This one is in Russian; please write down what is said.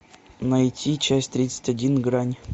найти часть тридцать один грань